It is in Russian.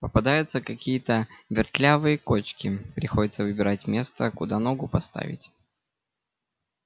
попадаются какие-то вертлявые кочки приходится выбирать место куда ногу поставить